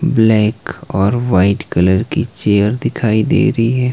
Black और white colour की chair दिखाई दे रहीं हैं।